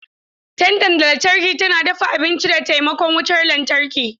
Tandan lantarki tana dafa abinci da taimakon wutar lantarki.